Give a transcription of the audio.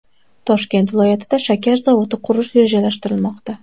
Toshkent viloyatida shakar zavodi qurish rejalashtirilmoqda.